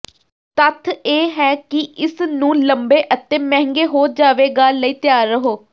ਤੱਥ ਇਹ ਹੈ ਕਿ ਇਸ ਨੂੰ ਲੰਬੇ ਅਤੇ ਮਹਿੰਗੇ ਹੋ ਜਾਵੇਗਾ ਲਈ ਤਿਆਰ ਰਹੋ